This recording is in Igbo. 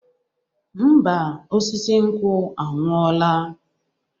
Ḿbà, osisi nkwụ anwụola